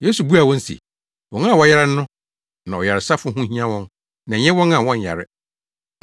Yesu buaa wɔn se, “Wɔn a wɔyare no na ɔyaresafo ho hia wɔn na ɛnyɛ wɔn a wɔnyare.